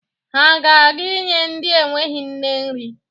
Ha ga-aga inye ndị enweghi nne nri.